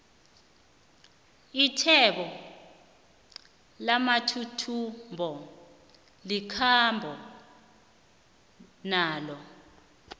athwebo lamathuthumbo likhambo nalo